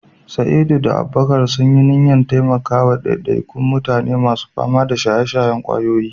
Sa'id da Abubakar sun yi niyyar taimaka wa ɗaiɗaikun mutane masu fama da shaye-shayen ƙwayoyi.